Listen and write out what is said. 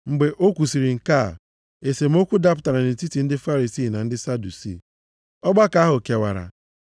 Mgbe o kwusiri nke a esemokwu dapụtara nʼetiti ndị Farisii na ndị Sadusii. Ọgbakọ ahụ kewara.